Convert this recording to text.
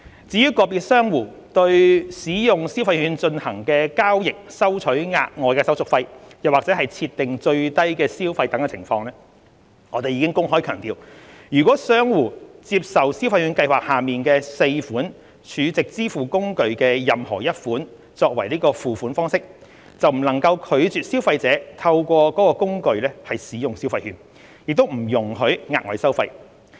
至於個別商戶對使用消費券進行的交易收取額外手續費或設定最低消費等情況，我們已公開強調，若商戶接受消費券計劃下的4款儲值支付工具的任何一款作付款方式，便不能拒絕消費者透過該工具使用消費券，亦不容許額外收費。